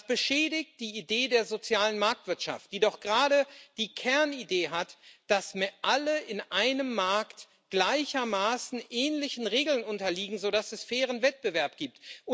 Das beschädigt die Idee der sozialen Marktwirtschaft, die doch gerade die Kernidee hat, dass alle in einem Markt gleichermaßen ähnlichen Regeln unterliegen, sodass es fairen Wettbewerb gibt.